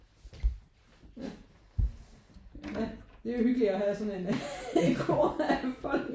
Ja ja det er jo hyggeligt at have sådan en